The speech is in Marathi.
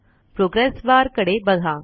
प्रोग्रेस बार कडे बघा